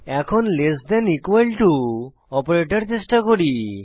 এখন less than equal to operator চেষ্টা করি